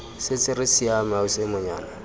setse re siame ausi monyana